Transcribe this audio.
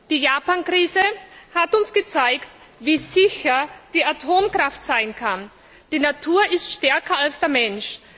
Die Japan Krise hat uns gezeigt, wie sicher die Atomkraft sein kann. Die Natur ist stärker als der Mensch.